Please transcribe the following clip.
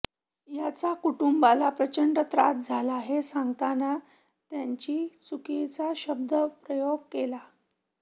याचा कुटुंबाला प्रचंड त्रास झाला हे सांगताना त्यांची चुकीचा शब्द प्रयोग केला